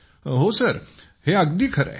हो सर हे अगदी खरे आहे